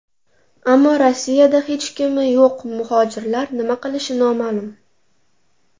Ammo Rossiyada hech kimi yo‘q muhojirlar nima qilishi noma’lum.